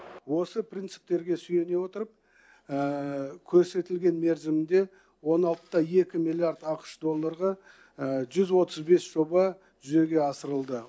осы принциптерге сүйене отырып көрсетілген мерзімде он алты да екі миллиард ақш долларға жүз отыз бес жоба жүзеге асырылды